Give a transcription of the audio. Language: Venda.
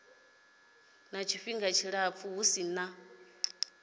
tshifhinga tshilapfu hu si na